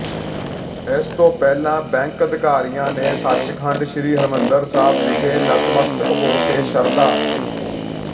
ਇਸ ਤੋਂ ਪਹਿਲਾਂ ਬੈਂਕ ਅਧਿਕਾਰੀਆਂ ਨੇ ਸੱਚਖੰਡ ਸ੍ਰੀ ਹਰਿਮੰਦਰ ਸਾਹਿਬ ਵਿਖੇ ਨਤਮਸਤਕ ਹੋ ਕੇ ਸ਼ਰਧਾ